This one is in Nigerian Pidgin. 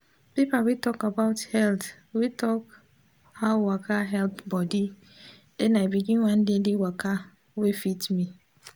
paper wey talk about health wey talk how waka help body den i begin one daily waka wey fit me